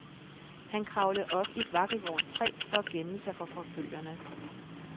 Han kravlede op i et vakkelvornt træ for at gemme sig for forfølgerne.